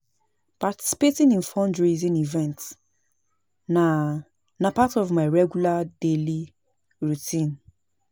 Participating in fundraising events na part of my regular daily routine.